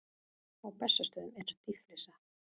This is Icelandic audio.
Á Bessastöðum er dýflissa.